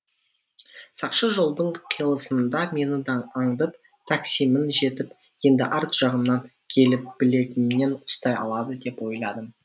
сақшы жолдың қиылысында мені аңдып таксимен жетіп енді арт жағымнан келіп білегімнен ұстай алады деп ойладым